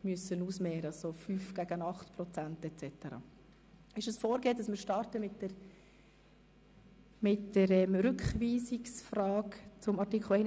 gegenüberstellen, beispielsweise jene betreffend die 5 beziehungsweise 8 Prozent.